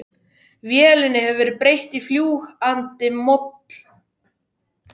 Vélinni hefur verið breytt í fljúg andi moll.